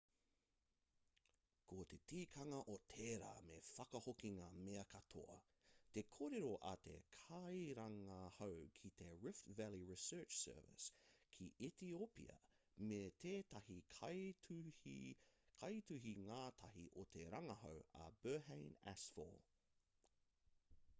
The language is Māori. ko te tikanga o tērā me whakahoki ngā mea katoa te kōrero a te kairangahau ki te rift valley research service ki etiopia me tētahi kaituhi-ngātahi o te rangahau a berhane asfaw